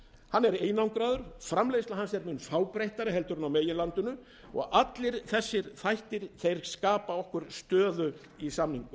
hann er einangraður framleiðsla hans er mun fábreyttari en á meginlandinu og allir þessir þættir skapa okkur stöðu í samningum